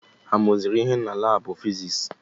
Ha mụrụ ihe na laabụ fiziks?